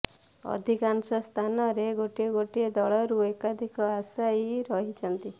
ଅଧିକାଂଶ ସ୍ଥାନରେ ଗୋଟିଏ ଗୋଟିଏ ଦଳରୁ ଏକାଧିକ ଆଶାୟୀ ରହିଛନ୍ତି